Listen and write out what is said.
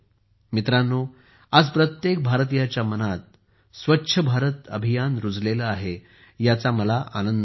मित्रांनो आज प्रत्येक भारतीयाच्या मनात स्वच्छ भारत अभियान आहे याचा मला आनंद आहे